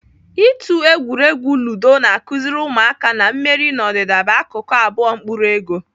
Ịtụ egwuregwu ludo na-akụziri ụmụaka na mmeri na ọdịda bụ akụkụ abụọ mkpụrụ ego.